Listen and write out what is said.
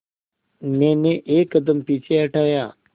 मैंने एक कदम पीछे हटाया